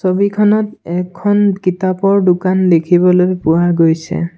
ছবিখনত এখন কিতাপৰ দোকান দেখিবলৈ পোৱা গৈছে।